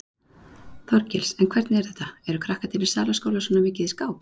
Þorgils: En hvernig er þetta, eru krakkarnir í Salaskóla svona mikið í skák?